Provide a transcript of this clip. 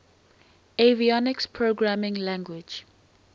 avionics programming language